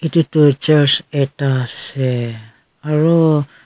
etu tu church ekta ase aru.